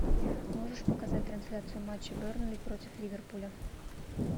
можешь показать трансляцию матча бернли против ливерпуля